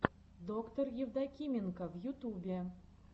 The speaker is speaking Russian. доктор евдокименко в ютубе